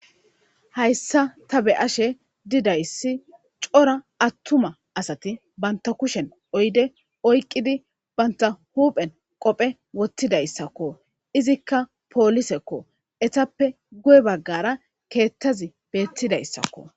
Hayisan ta be'ashe dizayis coora atuma asati bata kushen oyidey oyiqidi bata huphen qophe woxidaysako izika poliseko etape guyebagara hara kethazi betizayiako